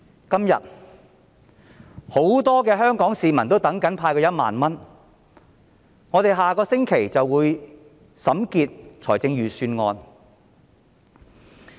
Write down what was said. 今天，很多香港市民正等待政府派發1萬元，立法會將於下星期審結財政預算案。